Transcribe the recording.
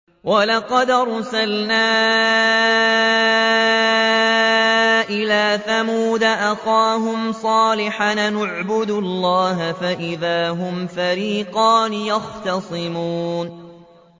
وَلَقَدْ أَرْسَلْنَا إِلَىٰ ثَمُودَ أَخَاهُمْ صَالِحًا أَنِ اعْبُدُوا اللَّهَ فَإِذَا هُمْ فَرِيقَانِ يَخْتَصِمُونَ